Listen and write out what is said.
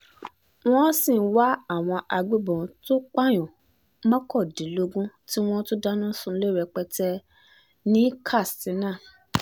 wọ́n sì ń wá àwọn agbébọn tó pààyàn mọ́kàndínlógún tí wọ́n tún dáná sunlẹ̀ rẹpẹtẹ ní katsina